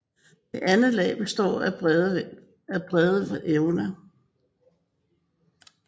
Det andet lag består af brede evner